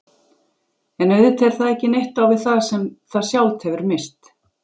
En auðvitað er það ekki neitt á við það sem það sjálft hefur misst.